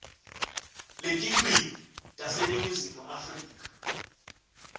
letilwimi taseningizimu afrika